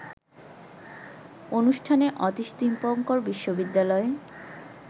অনুষ্ঠানে অতীশ দীপঙ্কর বিশ্ববিদ্যালয়ে